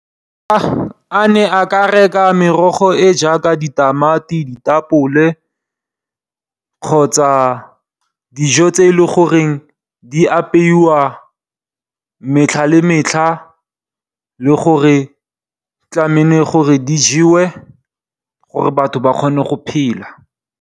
A ne a ka reka merogo e jaaka ditamati, ditapole kgotsa dijo tse e le goreng di apewa metlha le metlha le gore tlameile gore di jewe gore batho ba kgone go phela.